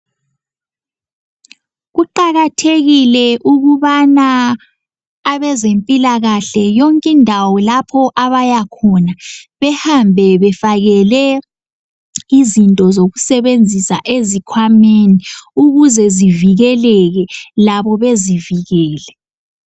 Kuqakathekile ukubana abezempilakahle yonk' indawo lapho abaya khona behambe befakele izinto zokusebenzisa ezikhwameni ukuze zivikeleke labo bezivikele.